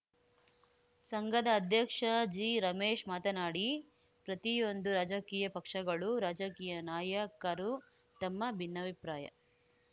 ಸಂಘದ ಅಧ್ಯಕ್ಷ ಜಿರಮೇಶ್‌ ಮಾತನಾಡಿ ಪ್ರತಿಯೊಂದು ರಾಜಕೀಯ ಪಕ್ಷಗಳು ರಾಜಕೀಯ ನಾಯಕರೂ ತಮ್ಮ ಭಿನ್ನಾಭಿಪ್ರಾಯ